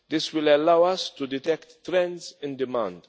This will allow us to detect trends in demand.